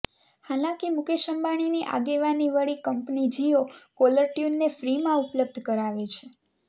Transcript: હાલાંકી મુકેશ અંબાણીની આગેવાની વળી કંપની જીયો કોલાર ટ્યુનને ફ્રીમાં ઉપલબ્ધ કરાવે છે